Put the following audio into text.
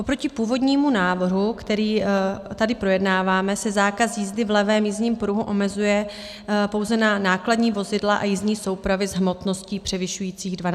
Oproti původnímu návrhu, který tady projednáváme, se zákaz jízdy v levém jízdním pruhu omezuje pouze na nákladní vozidla a jízdní soupravy s hmotností převyšující 12 tun.